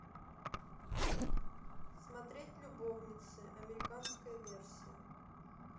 смотреть любовницы американская версия